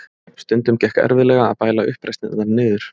Stundum gekk erfiðlega að bæla uppreisnirnar niður.